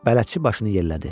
Bələdçi başını yellədi.